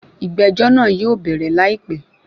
Ìgbẹ́jọ́ náà yóò bẹ̀rẹ̀ láìpé.